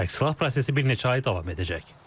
Tərksilah prosesi bir neçə ay davam edəcək.